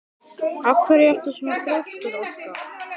Af hverju ertu svona þrjóskur, Orka?